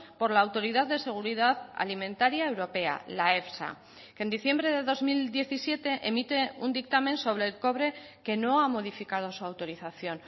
por la autoridad de seguridad alimentaria europea la efsa que en diciembre de dos mil diecisiete emite un dictamen sobre el cobre que no ha modificado su autorización